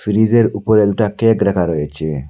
ফ্রিজের উপরে দুইটা কেক রাখা রয়েছে।